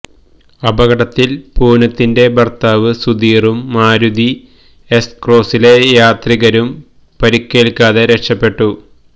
അപകടത്തില് പൂനത്തിന്റെ ഭര്ത്താവ് സുധീറും മാരുതി എസ് ക്രോസിലെ യാത്രികരും പരിക്കേല്ക്കാതെ രക്ഷപ്പെട്ടു